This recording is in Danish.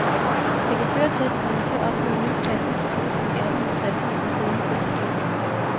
Det kan føre til, at vi kommer til at opleve en ny plantningstid som i atten halvtredserne, hvor heden blev opdyrket.